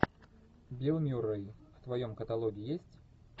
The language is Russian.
билл мюррей в твоем каталоге есть